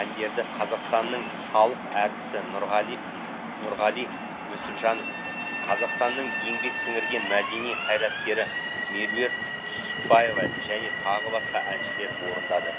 әндерді қазақстанның халық артисі нұрғали нүсіпжанов қазақстанның еңбек сіңірген мәдени қайраткері меруерт түсіпбаева және тағы басқа әншілер орындады